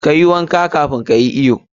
Kayi wanka kafun ka yi iyo.